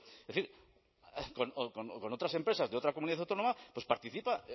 es decir con otras empresas de otra comunidad autónoma pues participa